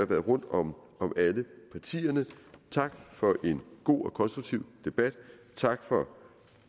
været rundt om alle partierne tak for en god og konstruktiv debat tak for